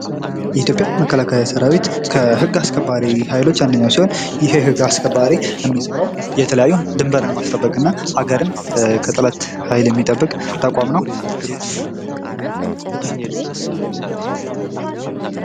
የኢትዮጵያ መከላከያ ሠራዊት ከህግ አስከባሪ ኃይሎች ጋር አንድ ናቸው :: የህግ አስከባሪ የሚሰራው የተለያየ ደንበርን ማስጠበቅና ሀገርን ከጠላት ኃይል የሚጠብቅ ተቋም ነው ::